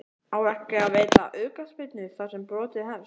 Á ekki að veita aukaspyrnu þar sem brotið hefst?